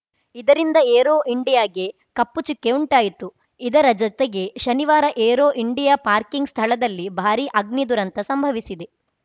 ಇದರಿಂದ ಏರೋ ಇಂಡಿಯಾಗೆ ಕಪ್ಪು ಚುಕ್ಕೆ ಉಂಟಾಯಿತು ಇದರ ಜತೆಗೆ ಶನಿವಾರ ಏರೋ ಇಂಡಿಯಾ ಪಾರ್ಕಿಂಗ್‌ ಸ್ಥಳದಲ್ಲಿ ಭಾರೀ ಅಗ್ನಿ ದುರಂತ ಸಂಭವಿಸಿದೆ